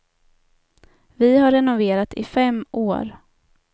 Vi har renoverat i fem år.